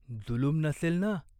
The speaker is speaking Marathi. जुलूम नसेल ना ?